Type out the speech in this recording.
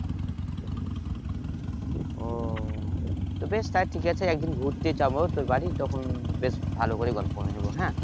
ও তো বেশ তাহলে ঠিক আছে একদিন ঘুরতে যাব তোর বাড়ি তখন বেশ ভালো করে গল্প করে নিব হ্যাঁ?